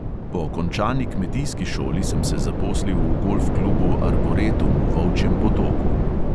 Po končani kmetijski šoli sem se zaposlil v golf klubu arboretum v volčjem potoku.